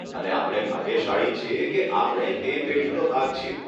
અને આપણે ભાગ્યશાળી છીએ કે આપણે તે પેઢીનો ભાગ છીએ.